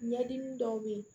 Ɲɛdimi dɔw be yen